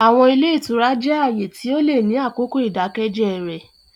Àwọn ile itura jẹ aaye ti o le ni akoko idakẹjẹ rẹ.